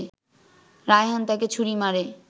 রায়হান তাকে ছুরি মারে